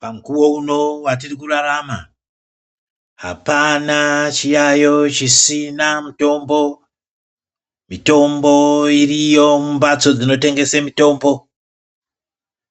Pamukuwo uno watiri kurarama hapana chiyayoyo chisina mutombo. Mitombo iriyo mumphatso dzinotengese mitombo